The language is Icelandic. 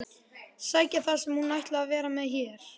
Sækja það sem hún ætlaði að vera með hér.